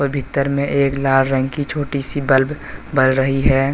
भीतर में एक लाल रंग की छोटी सी बल्ब बल रही है।